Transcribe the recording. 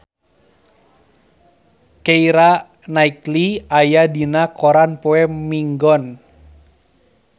Keira Knightley aya dina koran poe Minggon